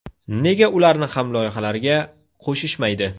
Nega ularni ham loyihalarga qo‘shishmaydi?